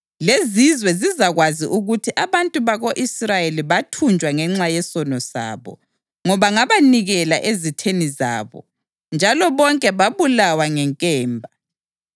Lezizwe zizakwazi ukuthi abantu bako-Israyeli bathunjwa ngenxa yesono sabo, ngoba ngabanikela ezitheni zabo, njalo bonke babulawa ngenkemba.